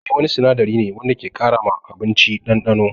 Maggi wani sinadari ne wanda ke ƙara ma abinci ɗanɗano.